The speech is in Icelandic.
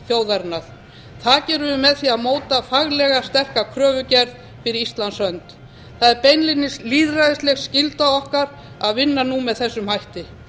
þjóðarinnar það gerum við með því að móta faglega sterka kröfugerð fyrir íslands hönd það er beinlínis lýðræðisleg skylda okkar að vinna nú með þessum hætti